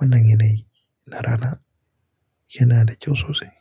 Wannan yanayi na rana yana da kyau sosai.